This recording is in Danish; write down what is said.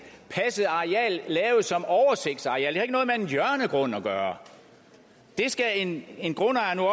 passet areal lavet som oversigtsareal det har ikke noget med en hjørnegrund at gøre skal en en grundejer nu